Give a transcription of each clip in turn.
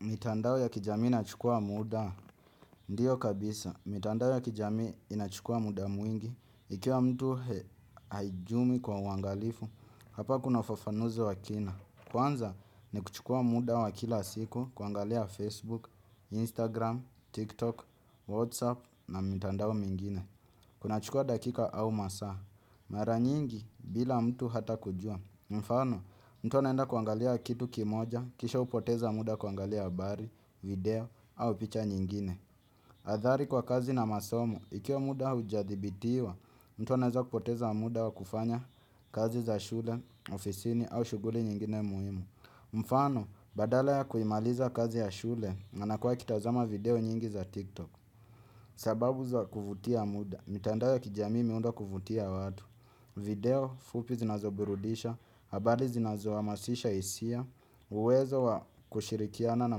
Mitandao ya kijamii inachukua muda, ndiyo kabisa. Mitandao ya kijamii inachukua muda mwingi, ikiwa mtu haijumi kwa uangalifu, hapa kuna ufafanuzi wakina. Kwanza ni kuchukua muda wa kila siku, kuangalia Facebook, Instagram, TikTok, Whatsapp na mitandao mingine. Kuna chukua dakika au masaa, maranyingi bila mtu hata kujua. Mfano, mtu anaenda kuangalia kitu kimoja, kisha hupoteza muda kuangalia habari, video, au picha nyingine. Athari kwa kazi na masomo, ikiwa muda haujadhibitiwa, mtu anaweza kupoteza muda wa kufanya kazi za shule, ofisini, au shughuli nyingine muhimu. Mfano, badala ya kuimaliza kazi ya shule, anakua akitazama video nyingi za TikTok. Sababu za kuvutia muda, mitandao ya kijamii imeundwa kuvutia watu. Video fupi zinazoburudisha, habari zinazoha masisha hisia, uwezo wa kushirikiana na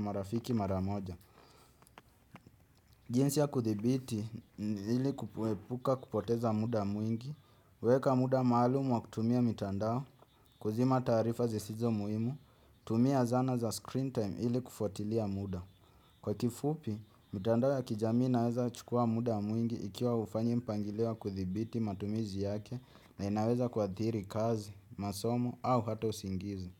marafiki maramoja. Jinsi ya kuthibiti ili kupuepuka kupoteza muda mwingi, weka muda maalumu wa kutumia mitandao, kuzima taarifa zisizo muhimu, tumia zana za screen time ili kufuatilia muda. Kwa kifupi, mitandao ya kijamii inaweza chukua muda mwingi ikiwa hufanyi mpangiliowa kuthibiti matumizi yake na inaweza kua thiri kazi, masomo au hata usingizi.